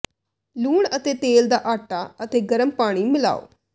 ਲੂਣ ਅਤੇ ਤੇਲ ਦਾ ਆਟਾ ਅਤੇ ਗਰਮ ਪਾਣੀ ਮਿਲਾਓ